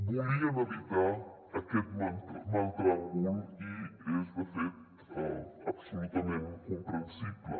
volien evitar aquest mal tràngol i és de fet absolutament comprensible